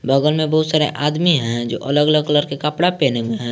बगल में बहुत सारे आदमी हैं जो अलग अलग कलर के कपड़ा पहने हुए हैं।